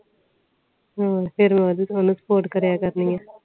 ਹੋਰ ਫੇਰਮੈਨੂੰ ਸਪੋਰਟ ਕ੍ਰਿਯਾ ਕਰਨੀ ਆ